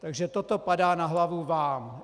Takže toto padá na hlavu vám.